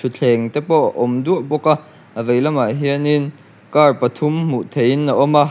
thuthleng te pawh a awm duah bawk a a veilamah hianin car pathum hmuh theihin a awm a.